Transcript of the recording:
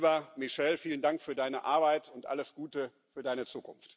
Lieber Michel, vielen Dank für deine Arbeit und alles Gute für deine Zukunft!